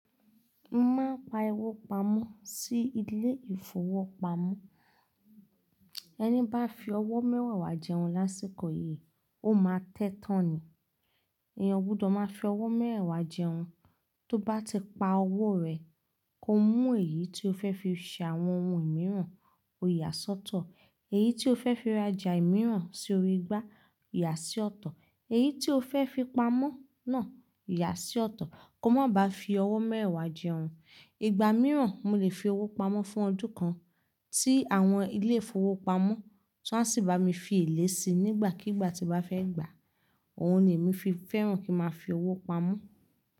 Moma pa owó pamọ́ sí ilé ìfowópamọ́. Ẹni bá fi ọwọ́ mẹ́mewà jẹun lásìkò yìí, ó máa tẹ́tán ni. Ìyẹn gbudọ̀ máa fi ọwọ́ mẹ́mewàá jẹun. Tó bá ti pa owó rẹ̀, kó mú èyí tí o fẹ́ fi ṣe àwọn ohun mìíràn, kó yà sọ́tọ̀. Èyí tí o fẹ́ fi rajà mìíràn sí orí igbá, yà sí ọ̀tọ̀. Èyí tí o fẹ́ fi pamọ́ náà, yà á sí ọ̀tọ̀. Kó má ba fi ọwọ́ mẹ́mewàá jẹun. Ìgbà mìíràn, mo lè fi owó pamọ́ fún ọdún kan tí àwọn ilé ìfowópamọ́ ti won asì máa fi ìlẹ́ sí nígbàkigbà tí mo bá fẹ́ gbà á. Òhun ni èmi fi fẹ́ràn kí n máa fi owó pamọ́.